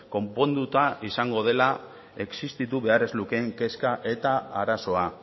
konponduta izango dela existitu behar ez lukeen kezka eta arazoa